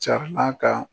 Carinna ka